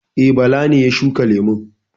E, Bala ne ya shuka lemun.